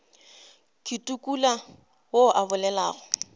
ke tukula yo a bolelago